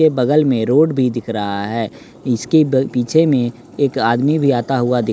के बगल में रोड भी दिख रहा है इसके ब पीछे में एक आदमी भी आता हुआ दिख--